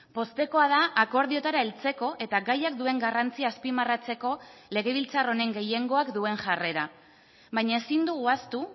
poztekoa da akordioetara heltzeko eta gaiak duen garrantzia azpimarratzeko legebiltzar honen gehiengoak duen jarrera baina ezin dugu ahaztu